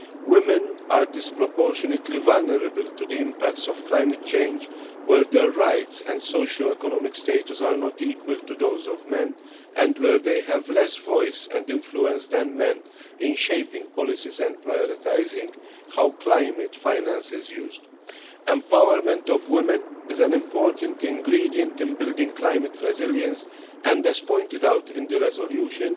Women are disproportionately vulnerable to the impacts of climate change, where their rights and socioeconomic status are not equal to those of men, and where they have less voice and influence than men in shaping policies and prioritising how climate finance is used. The empowerment of women is an important ingredient in building climate resilience and, as pointed out in the resolution,